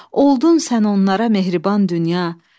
Oldun sən onlara mehriban dünya,